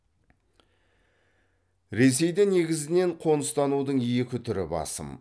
ресейде негізінен қоныстанудың екі түрі басым